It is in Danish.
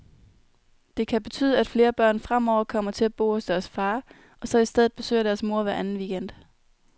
Det kan betyde, at flere børn fremover kommer til at bo hos deres far, og så i stedet besøger deres mor hver anden weekend.